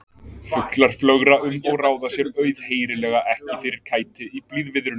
Fuglar flögra um og ráða sér auðheyrilega ekki fyrir kæti í blíðviðrinu.